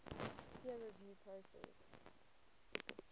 peer review process